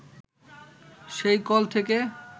সেই কল থেকে